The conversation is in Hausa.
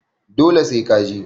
Dole sai ka je